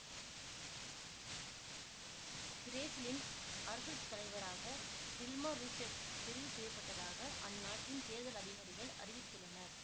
பிரேசிலின் அரசு தலைவராக டில்மா ரூசெஃப் தெரிவு செய்ய பட்டதாக அந்நாட்டின் தேர்தல் அதிகாரிகள் அறிவித்துள்ளனர்